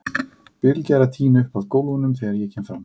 Bylgja er að tína upp af gólfunum þegar ég kem fram.